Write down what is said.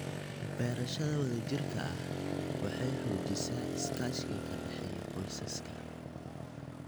Beerashada wadajirka ah waxay xoojisaa iskaashiga ka dhexeeya qoysaska.